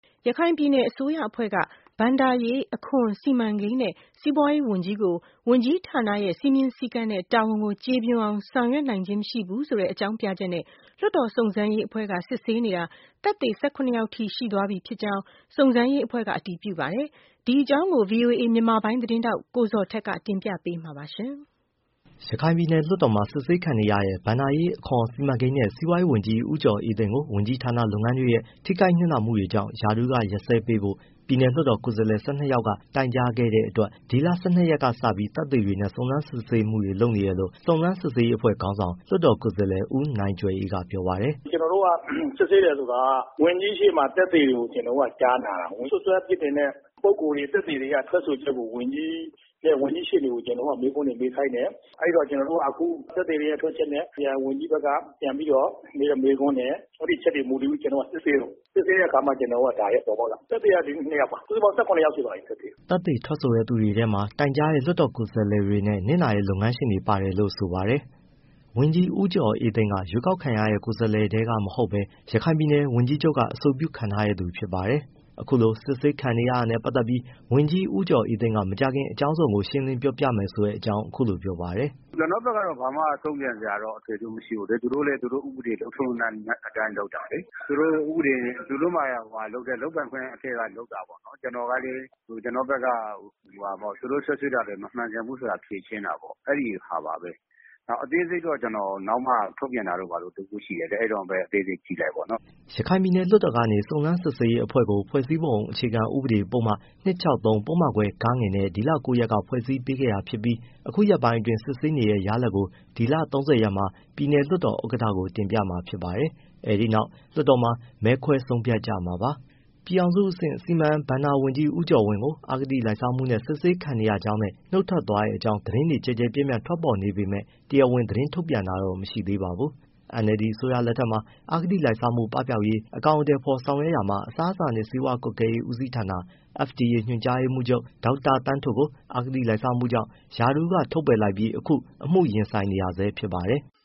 ရခိုင်ပြည်နယ် အစိုးရအဖွဲ့က ဘဏ္ဍာရေး၊ အခွန်၊ စီမံကိန်းနဲ့ စီးပွားရေးဝန်ကြီးကို ဝန်ကြီးဌာနရဲ့ စည်းမျဉ်း၊ စည်းကမ်းနဲ့ တာဝန်ကို ကျေပွန်အောင် ဆောင်ရွက်နိုင်ခြင်းမရှိဘူးဆိုတဲ့ အကြောင်းပြချက်နဲ့ လွှတ်တော်စုံစမ်းရေး အဖွဲ့က စစ်ဆေးနေတာ သက်သေ ၁၇ ယောက်ထိရှိသွားပြီ်ဖြစ်ကြောင်း စုံစမ်းရေးအဖွဲ့ကအတည်ပြုပါတယ်။ ဒီအကြောင်းကို ဗွီအိုအေ မြန်မာပိုင်း သတင်းထောက် ကိုဇော်ထက်က တင်ပြပေးမှာပါ။ ရခိုင်ပြည်နယ်လွှတ်တော်မှာ စစ်ဆေးခံနေရတဲ့ ဘဏ္ဍာရေး၊ အခွန်၊ စီမံကိန်းနဲ့ စီးပွားရေးဝန်ကြီး ဦးကျော်အေးသိန်းကို ဝန်ကြီးဌာနလုပ်ငန်းတွေရဲ့ ထိခိုက်နစ်နာမှုတွေကြောင့် ရာထူးကရပ်စဲပေးဖို့ ပြည်နယ်လွှတ်တော်ကိုယ်စားလှယ် ၁၂ယောက်က တိုင်ကြားခဲ့တဲ့အတွက် ဒီလ၁၂ရက်ကစပြီး သက်သေတွေနဲ့ စုံစမ်းစစ်ဆေးမှုတွေ လုပ်နေတယ်လို့ စုံစမ်းစစ်ဆေးရေး အဖွဲ့ခေါင်းဆောင် လွှတ်တော်ကိုယ်စားလှယ် ဦးနိုင်ကြွယ်အေးက ပြောပါတယ်။ “ကျွန်တော်တို့က စစ်ဆေးတယ်ဆိုတာက ဝန်ကြီး ရှေ့မှာကျွန်တော်တို့က သက်သေတွေကို ကျွန်တော်တို့က ကြားနာတာပေါ့။ စွပ်စွဲအပြစ်တင်တဲ့ ပုဂ္ဂိုလ်တွေ၊ သက်သေတွေက ထွက်ဆိုချက်ကို ဝန်ကြီးရှေ့တင် ကျွန်တော်တို့က မေးခွန်းတွေ မေးခိုင်းတယ်။ အဲဒီတော့ ကျွန်တော်တို့က အခု သက်သေတွေရဲ့ ထွက်ချက်နဲ့ ဝန်ကြီးဘက်ကပြန်ပြီးတော့ မေးတဲ့မေးခွန်းနဲ့ အဲဒီအချက်တွေပေါ် မူတည်ပြီး ကျွန်တော်တို့က စစ်ဆေးတာ။ စစ်ဆေးတဲ့အခါ ဒါတွေကပေါ်ပေါက်လာတာ။ သက်သေကဒီနေ့နှစ်ယောက်ပါ၊ စုစုပေါင်း ၁၇ယောက်ရှိသွားပါပြီ။” သက်သေထွက်ဆိုတဲ့သူတွေထဲမှာ တိုင်ကြားတဲ့ လွှတ်တော်ကိုယ်စားလှယ်တွေနဲ့ နစ်နာတဲ့ လုပ်ငန်းရှင်တွေပါတယ်လို့ ဆိုပါတယ်။ ဝန်ကြီး ဦးကျော်အေးသိန်းက ရွှေးကောက်ခံရတဲ့ ကိုယ်စားလှယ်ထဲကမဟုတ်ဘဲ ရခိုင်ပြည်နယ် ဝန်ကြီးချုပ်က အဆိုပြုခန့်ထားတဲ့ သူဖြစ်ပါတယ်။ အခုလို စစ်ဆေးခံနေရတာနဲ့ပတ်သတ်ပြီး ဝန်ကြီးဦးကျော်အေးသိန်းက မကြာခင် အကြောင်းစုံကို ရှင်းလင်းပြောပြမယ်ဆိုတဲ့အကြောင်း အခုလိုပြောပါတယ်။ “ကျွန်တော့်ဘက်ကတော့ ဘာမှ တုံ့ပြန်စရာတော့ အထွေအထူးမရှိဘူးလေ၊ သူတို့လည်း သူတို့ဥပဒေ လုပ်ထုံး၊လုပ်နည်း အတိုင်းလုပ်တာလေ။ သူတို့လုပ်ပိုင်ခွင့် အထဲကနေလုပ်တာပေါ့နော်။ ကျွန်တော်ကလည်း ကျွန်တော့ဘက်က သူတို့စွပ်စွဲတာတွေ မမှန်ကန်ဘူးဆိုတာ ဖြေရှင်းတာပေါ့။ အဲဒီဟာပါပဲ။ အသေးစိတ်တော့ ကျွန်တော်နောက်မှ ထုတ်ပြန်တာတို့ ဘာတို့ တစ်ခုရှိတယ်လေ၊ အဲဒီတော့မှပဲ အသေးစိတ်ကြည့်လိုက်ပေါ့နော်။” ရခိုင်ပြည်နယ်လွှတ်တော်ကနေ စုံစမ်းစစ်ဆေးရေးအဖွဲ့ကို ဖွဲ့စည်းပုံအခြေခံဥပဒေ ပုဒ်မ ပုဒ်မခွဲ နဲ့ ဒီလ၉ရက်က ဖွဲ့စည်းပေးခဲ့တာဖြစ်ပြီး အခုရက်ပိုင်းအတွင်း စစ်ဆေးနေတဲ့ ရလာဒ်ကို ဒီလ၃၀ရက်မှာ ပြည်နယ်လွှတ်တော်ဥက္ကဌကို တင်ပြမှာဖြစ်ပါတယ်။ အဲဒီနောက် လွှတ်တော်မှာ မဲခွဲဆုံးဖြတ်ကြမှာဖြစ်ပါတယ်။ ပြည်ထောင်စုအဆင့် စီမံဘဏ္ဍာဝန်ကြီး ဦးကျော်ဝင်းကို အဂတိလိုက်စားမှုနဲ့ စစ်ဆေးခံနေရကြောင်းနဲ့ နှုတ်ထွက်သွားတဲ့အကြောင်း သတင်းတွေကျယ်ကျယ်ပြန့်ပြန့်ထွက်ပေါ်နေပေမဲ့ တရားဝင်သတင်းထုတ်ပြန်တာတော့ မရှိသေးပါဘူး။ NLD အစိုးရလက်ထက်မှာ အဂတိလိုက်စားမှုပပျောက်ရေး အကောင်အထည်ဖေါ်ဆောင်ရွက်ရာမှာ FDA အစားအစာနဲ့ဆေးဝါးကွပ်ကဲမှုဦးစီးဌာန ညွှန်ကြားရေးမှူးချုပ် ဒေါက်တာသန်းထွဋ်ကို အဂတိလိုက်စားမှုကြောင့် ရာထူးကထုတ်ပယ်လိုက်ပြီး အခုအမှုရင်ဆိုင်နေရဆဲဖြစ်ပါတယ်။